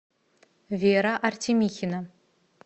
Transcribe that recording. вера артемихина